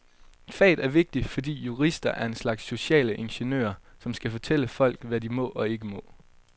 Faget er vigtigt, fordi jurister er en slags sociale ingeniører, som skal fortælle folk, hvad de må og ikke må.